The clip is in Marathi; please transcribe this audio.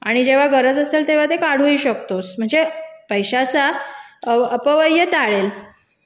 आणि जेव्हा गरज असेल तेव्हा तू ते काढू शकतोस म्हणजे पैशाचा अपव्य टाळेल